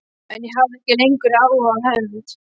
En ég hafði ekki lengur áhuga á hefnd.